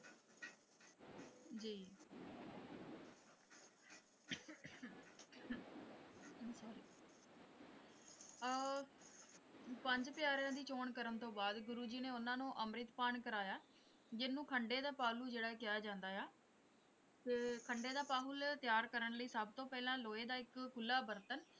ਅਹ ਪੰਜ ਪਿਆਰਿਆਂ ਦੀ ਚੌਣ ਕਰਨ ਤੋਂ ਬਾਅਦ ਗੁਰੂ ਜੀ ਨੇ ਉਹਨਾਂ ਨੂੰ ਅੰਮ੍ਰਿਤਪਾਨ ਕਰਾਇਆ ਜਿਹਨੂੰ ਖੰਡੇ ਦਾ ਪਾਹਲੂ ਜਿਹੜਾ ਕਿਹਾ ਜਾਂਦਾ ਹੈ ਤੇ ਖੰਡੇ ਦਾ ਪਾਹੁਲ ਤਿਆਰ ਕਰਨ ਲਈ ਸਭ ਤੋਂ ਪਹਿਲਾਂ ਲੋਹੇ ਦਾ ਇੱਕ ਖੁੱਲ੍ਹਾ ਬਰਤਨ।